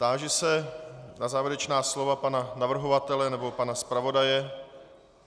Táži se na závěrečná slova pana navrhovatele nebo pana zpravodaje.